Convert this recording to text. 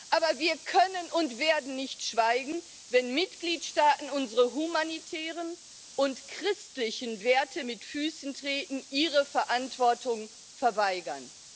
Aber wir können und werden nicht schweigen, wenn Mitgliedstaaten unsere humanitären und christlichen Werte mit Füßen treten, ihre Verantwortung verweigern.